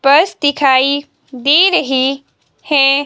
Purse दिखाई दे रही हैं।